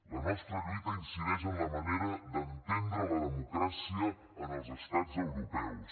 la nostra lluita incideix en la manera d’entendre la democràcia en els estats europeus